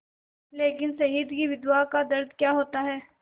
लेकिन शहीद की विधवा का दर्द क्या होता है